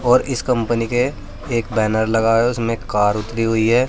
और इस कंपनी के एक बैनर लगा है उसमें कार उतरी हुई है।